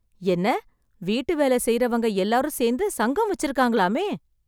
என்ன வீட்டு வேலை செய்றவங்க எல்லாரும் சேர்ந்து சங்கம் வச்சிருக்காங்களாமே.